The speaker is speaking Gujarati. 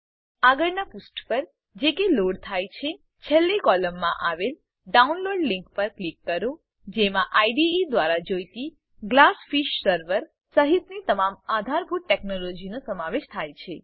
આગળનાં પુષ્ઠ પર જે કે લોડ થાય છે છેલ્લી કોલમમાં આવેલ ડાઉનલોડ લીંક પર ક્લિક કરો જેમાં આઇડીઇ દ્વારા જોઈતી ગ્લાસફીશ સર્વર સહીતની તમામ આધારભૂત ટેકનોલોજીનો સમાવેશ થાય છે